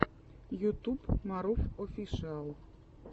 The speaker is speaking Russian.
ютуб марув офишиал